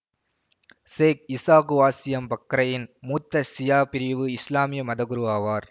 சேக் Isa Qassim பக்ரையின் மூத்த சியா பிரிவு இசுலாமிய மதகுரு ஆவார்